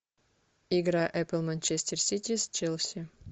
игра апл манчестер сити с челси